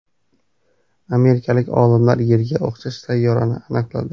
Amerikalik olimlar Yerga o‘xshash sayyorani aniqladi.